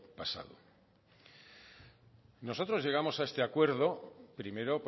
pasado nosotros llegamos a este acuerdo primero